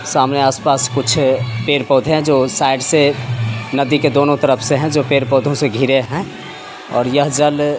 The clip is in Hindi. सामने आस-पास कुछ पेड़-पोधे है जो साइड से नदी के दोनों तरफ से है जो पेड़-पौधे से घिरे है और यह जल --